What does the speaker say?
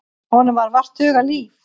Honum var vart hugað líf.